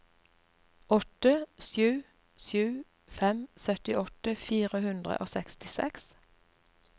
åtte sju sju fem syttiåtte fire hundre og sekstiseks